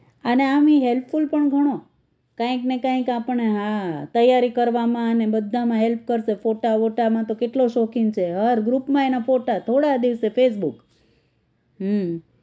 અને આમેય ઈ helpful પણ ઘણો કાંઈક ને કાંઈક આપણને હા તૈયારી કરવામાં અને બધામાં help કરશે ફોટા વોટા માં તો કેટલો શોખીન છે હર group માં એના ફોટા થોડા દિવસે facebook હમ